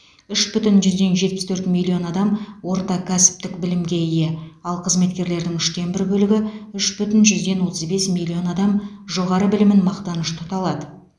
үш бүтін жүзден жетпіс төрт миллион адам орта кәсіптік білімге ие ал қызметкерлердің үштен бір бөлігі үш бүтін жүзден отыз бес миллион адам жоғары білімін мақтаныш тұта алады